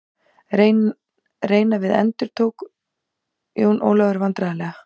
Reyna við endurtók Jón Ólafur vandræðalega.